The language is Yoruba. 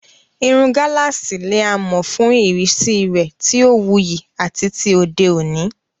Irun gálààsì ni a mọ̀ fún ìrísí rẹ̀ tí ó wuyì àti ti òde òní.